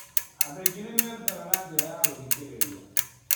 Andũ aingĩ nĩ merutaga na njĩra ya gũthikĩrĩria.